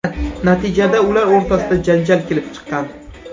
Natijada ular o‘rtasida janjal kelib chiqqan.